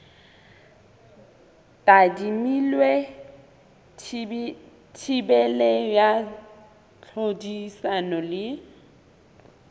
tadimilwe thibelo ya tlhodisano le